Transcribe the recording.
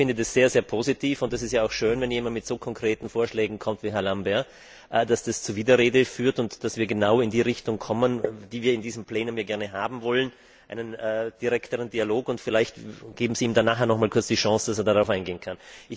Ich finde das sehr positiv, und es ist auch schön, wenn jemand mit so konkreten Vorschlägen kommt wie Herr Lamberts, aber dass dies zur Widerrede führt und dass wir genau in die Richtung kommen, die wir in diesem Plenum gerne haben wollen, einen direkteren Dialog. Vielleicht geben Sie ihm nachher noch einmal kurz die Chance, dass er darauf eingehen kann.